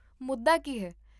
ਮੁੱਦਾ ਕੀ ਹੈ?